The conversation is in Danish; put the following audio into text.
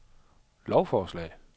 lovforslag